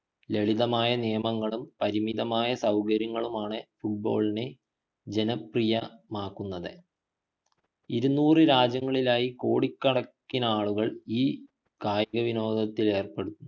ലളിതമായ നിയമങ്ങളും പരിമിതമായ സൗകര്യങ്ങളുമാണ് football ഇനെ ജനപ്രിയമാകുന്നത് ഇരുന്നൂറ് രാജ്യങ്ങളിലായി കൊടികണക്കിനാളുകൾ ഈ കായികവിനോദത്തിലേർപ്പെടുന്നുണ്ട്